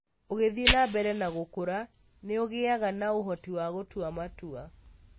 ũgĩthĩe na mbere na gũkũra, nĩ ũgĩaga na ũhoti wa gũtua matua.